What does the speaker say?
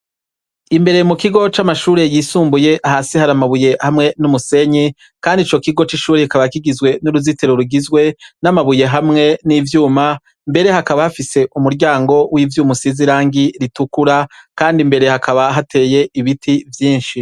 Imbere mu kigo c'amashure yisumbuye hasi hari amabuye hamwe n'umusenyi, kandi ico kigo c'ishure kikaba kigizwe n'uruzitero rugizwe n'amabuye hamwe n'ivyuma mbere hakaba hafise umuryango w'ivyo umusizirangi ritukura, kandi mbere hakaba hateye ibiti vyinshi.